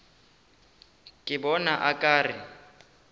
ke bona o ka re